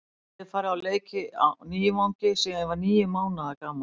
Ég hef farið á leiki á Nývangi síðan ég var níu mánaða gamall.